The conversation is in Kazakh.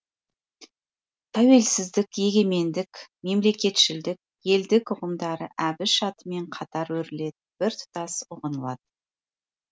тәуелсіздік егемендік мемлекетшілдік елдік ұғымдары әбіш атымен қатар өріледі біртұтас ұғынылады